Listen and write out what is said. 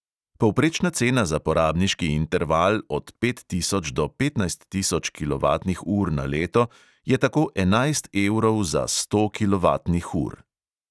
Povprečna cena za porabniški interval od pet tisoč do petnajst tisoč kilovatnih ur na leto je tako enajst evrov za sto kilovatnih ur.